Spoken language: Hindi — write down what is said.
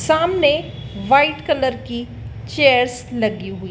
सामने व्हाइट कलर की चेयर्स लगी हुई --